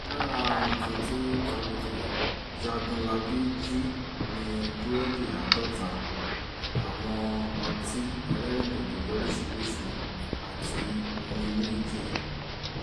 lára nǹkan tí jágunlábí jì ni búrẹ́dì àádọ́ta àwọn ọtí ẹlẹ́rìndòdò lóríṣìíríṣìí àti omi inú ike